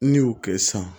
N'i y'o kɛ sisan